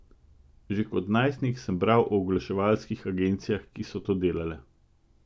Že kot najstnik sem bral o oglaševalskih agencijah, ki so to delale.